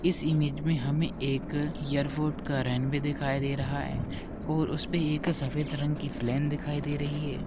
इस इमेज मे हमे एक इयरपोट का रेन भी दिखाई दे रहा है और ऊसपे एक सफ़ेद रंग की प्लेन दिखाई दे रही है।